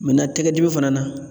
Mɛna tɛgɛ dimi fana na